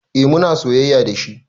Eh muna soyayya dashi